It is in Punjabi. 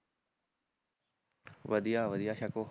ਵਧੀਆ ਵਧੀਆ ਛਕੋ